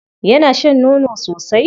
Yana shan nono sosai?